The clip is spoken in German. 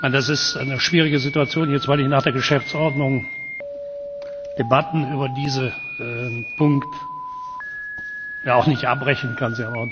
Das ist eine schwierige Situation, weil ich nach der Geschäftsordnung Debatten über diesen Punkt ja auch nicht abbrechen kann.